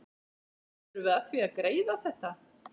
Hvernig förum við að því að greiða þetta?